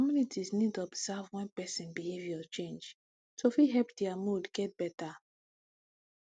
communities need observe wen person behavior change to fit help dia mood get better